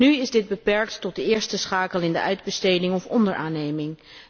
Nu is deze beperkt tot de eerste schakel in de uitbesteding of onderaanneming.